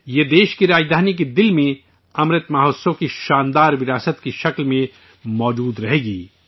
یہ ملک کی راجدھانی کے قلب میں امرت مہوتسو کی عظیم روایت کے طور پر موجود رہے گی